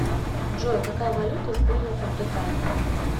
джой какая валюта используется в британии